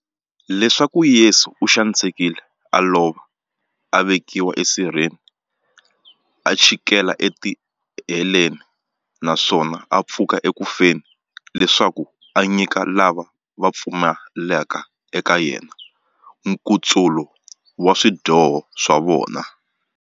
Leswaku Yesu u xanisekile, a lova, a vekiwa e sirheni, a chikela e tiheleni, naswona a pfuka eku feni, leswaku a nyika lava va pfumelaka eka yena, nkutsulo wa swidyoho swa vona.